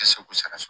Kosɛbɛ